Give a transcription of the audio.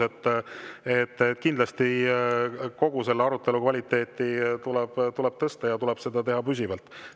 Aga ma olen nõus, et kogu selle arutelu kvaliteeti tuleb kindlasti tõsta, ja seda tuleb teha püsivalt.